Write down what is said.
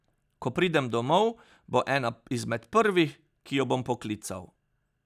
Ko pridem domov, bo ena izmed prvih, ki jo bom poklical.